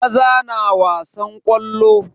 Maza na wasan ƙwallo.